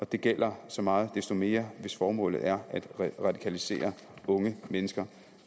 det gælder så meget desto mere hvis formålet er at radikalisere unge mennesker